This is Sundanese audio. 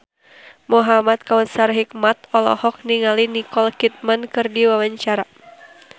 Muhamad Kautsar Hikmat olohok ningali Nicole Kidman keur diwawancara